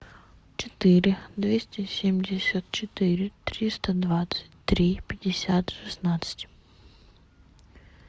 четыре двести семьдесят четыре триста двадцать три пятьдесят шестнадцать